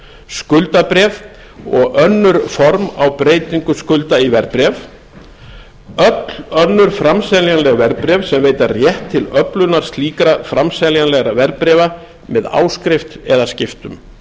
skuldabréf og önnur form á breytingu skulda í verðbréf öll önnur framseljanleg verðbréf sem veita rétt til öflunar slíkra framseljanlegra verðbréfa með áskrift eða skiptum